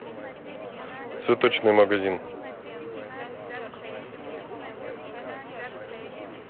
цветочный магазин